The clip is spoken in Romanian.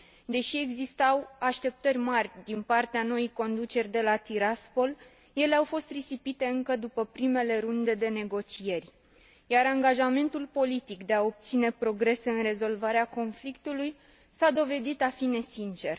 Deși existau așteptări mari din partea noii conduceri de la Tiraspol, ele au fost risipite încă după primele runde de negocieri, iar angajamentul politic de a obține progrese în rezolvarea conflictului s a dovedit a fi nesincer.